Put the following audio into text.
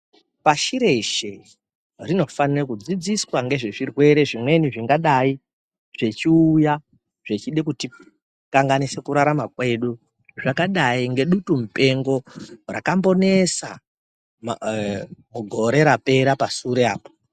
Pashi reshe rinofanira kudzidziswa ngezvirwere zvimweni zvingadai zvechiuya zvechide kutikanganise kurarama kwedu zvakadai ngedutu mupengo rakambonesa mugore rapera pasture apo.